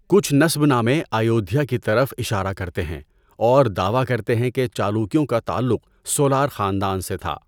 کچھ نسب نامے ایودھیا کی طرف اشارہ کرتے ہیں اور دعوی کرتے ہیں کہ چالوکیوں کا تعلق سولار خاندان سے تھا۔